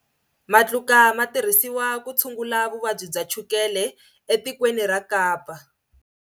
Matluka ma tirhisiwa ku tshungula vuvabyi bya chukele etikweni ra Kapa.